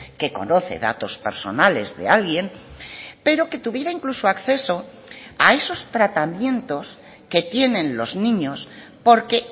que conoce datos personales de alguien pero que tuviera incluso acceso a esos tratamientos que tienen los niños porque